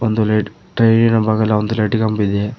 ಒಂದು light tray ನ ಬಗಲ ಒಂದು ಲೈಟಿನ ಕಂಬವಿದೆ.